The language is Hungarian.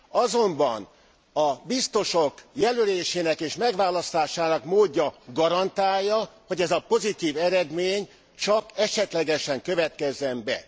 Azonban a biztosok jelölésének és megválasztásának módja garantálja, hogy ez a pozitív eredmény csak esetlegesen következzen be.